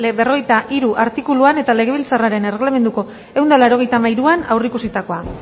berrogeita hiru artikuluan eta legebiltzarraren erreglamenduko ehun eta laurogeita hamairuan aurreikusitakoa